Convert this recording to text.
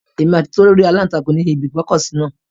Èmi àti Tolú rí aláǹtakùn ní ibi ìgbọ́kọ̀sí náà